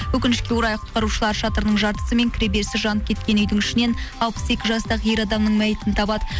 өкінішке орай құтқарушылар шатырының жартысы мен кіреберісі жанып кеткен үйдің ішінен алпыс екі жастағы ер адамның мәйітін табады